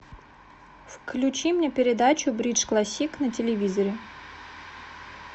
включи мне передачу бридж классик на телевизоре